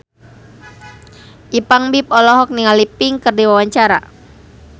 Ipank BIP olohok ningali Pink keur diwawancara